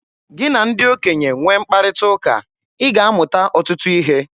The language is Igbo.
Gị na ndị okenye nwee mkparịta ụka, ị ga-amụta ọtụtụ ihe.